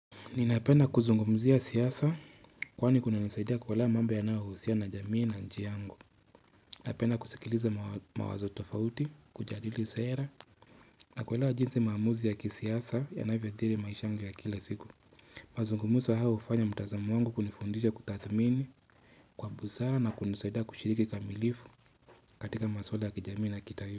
Ninapend kuzungumuzia siasa kwani kuna nisaidia kuelewa mambo yanahusiana jamii na nchi yangu. Napenda kusikiliza mawazo tofauti, kujadili sera. Nakuelewa jinsi maamuzi ya kisiasa yanavya thiri maisha yangu ya kila siku. Mazungumuzo hayo hufanya mtazamo wangu kunifundisha kutathmini kwa busara na kunisaidia kushiriki kamilifu katika maswala ya kijamii na kitaifa.